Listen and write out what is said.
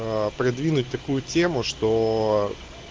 придвинуть такую тему что